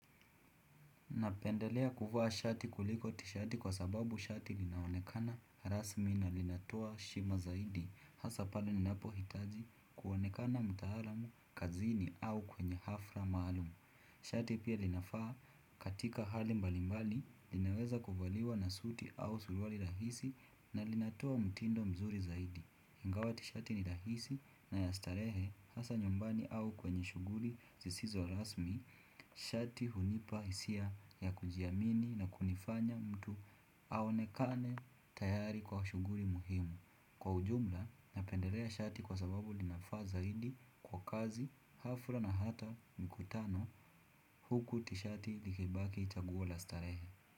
Napendelea kuvaa shati kuliko tishati kwa sababu shati linaonekana rasmi na lina toa heshima zaidi hasa pale ninapo hitaji kuonekana mtaalam kazini au kwenye hafla maalum. Shati pia linafaa katika hali mbalimbali linaweza kuvaliwa na suti au suruali rahisi na linatoa mtindo mzuri zaidi. Ingawa tishati ni rahisi na ya starehe hasa nyumbani au kwenye shughuli zisizo rasmi shati hunipa hisia ya kujiamini na kunifanya mtu aonekane tayari kwa shughuli muhimu kwa ujumla napendelea shati kwa sababu linafaa zaidi kwa kazi hafla na hata mkutano huku tishati likibaki itaguwa la starehe.